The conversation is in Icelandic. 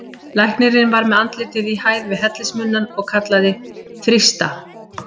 Læknirinn var með andlitið í hæð við hellismunnann og kallaði: þrýsta!